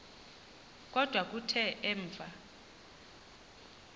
kodwa kuthe emva